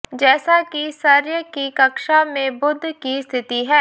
जैसा कि सर्य की कक्षा में बुध की स्थिति है